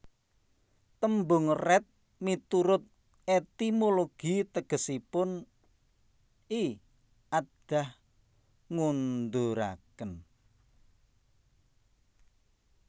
Tembung Radd miturut etimologi tegesipun I aadah ngonduraken